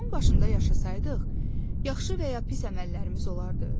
Dağın başında yaşasaydıq, yaxşı və ya pis əməllərimiz olardımı?